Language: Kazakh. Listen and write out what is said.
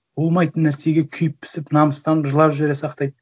болмайтын нәрсеге күйіп пісіп намыстанып жылап жібере сақтайды